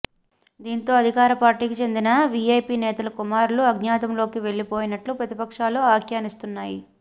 దీంతో అధికార పార్టీకి చెందిన వీఐపీ నేతల కుమారులు అజ్ఞాతంలోకి వెళ్లిపోయినట్లు ప్రతిపక్షాలు వ్యాఖ్యానిస్తున్నాయి